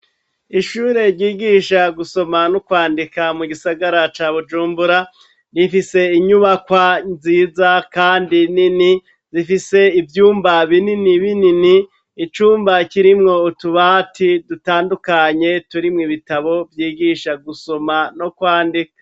Ishure ryigisha gusoma no kwandika mu gisagara ca bujumbura rifise inyubakwa nziza kandi nini zifise ivyumba binini binini icumba kirimwo utubati dutandukanye turimo ibitabo vyigisha gusoma no kwandika.